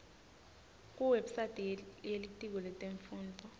kuwebsite yelitiko letemfundvo